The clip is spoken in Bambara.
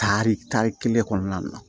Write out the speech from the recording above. Tari kari kelen kɔnɔna na